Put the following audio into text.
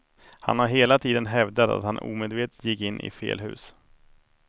Han har hela tiden hävdat att han omedvetet gick in i fel hus.